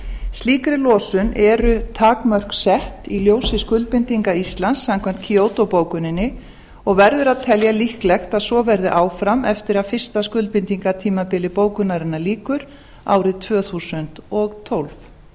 slíkri losun eru takmörk sett í ljósi skuldbindinga íslands samkvæmt kyoto bókuninni og verður að telja líklegt að svo verði áfram eftir að fyrsta skuldbindingartímabili bókunarinnar lýkur árið tvö þúsund og tólf